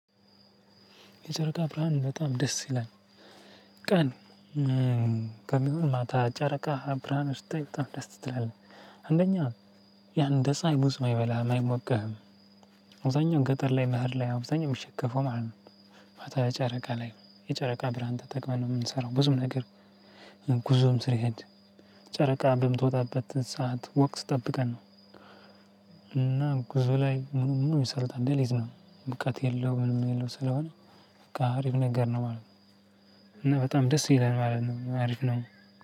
የጨረቃ ብርሃን በጣም ደስ ይላል። ቀን ከሚሆን ማታ ጨረቃ ብርሃን ውስጥ በጣም ደስ ትላለህ አንደኛ ያ እንድ ፀሀይ ብዙም አይበላህም አይሞቅህም። ገጠር ላይ መሃል ላይ አብዛኛው የሚሸከፈው ማለት ነው። ማታ ጨረቃ ላይ የጨረቃ ብርሃን ተጠቅመን ነው የምንሰራው ብዙም ነገር። ጉዞም ስንሄድ ጨረቃ በምትወጣበት ሰዓት ወቅት ጠብቀን ነው። እና ጉዞ ላይ ምንም ይሰራል እንደሌዝ ነው። በቃ የለውም ምን የለውም ስለሆነ። በቃ አሪፍ ነገር ነው ማለት ነው። እና በጣም ደስ ይለናል ማለት ነው አሪፍ ነው።